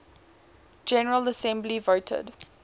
general assembly voted